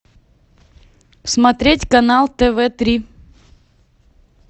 смотреть канал тв три